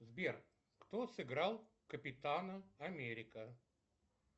сбер кто сыграл капитана америка